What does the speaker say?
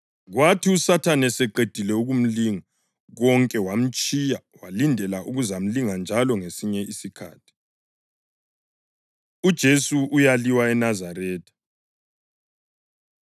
Kwathi uSathane eseqedile ukumlinga konke wamtshiya walindela ukuzamlinga njalo ngesinye isikhathi. UJesu Uyaliwa ENazaretha